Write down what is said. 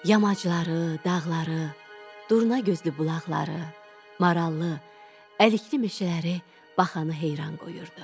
Yamacları, dağları, durnagözlü bulaqları, marallı, əlikli meşələri baxanı heyran qoyurdu.